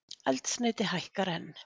Eldsneyti hækkar enn